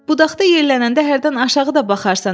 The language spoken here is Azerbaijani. budaqda yellənəndə hərdən aşağı da baxarsan.